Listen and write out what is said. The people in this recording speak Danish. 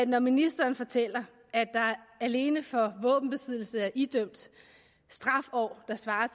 når ministeren fortæller at der alene for våbenbesiddelse er idømt straffeår der svarer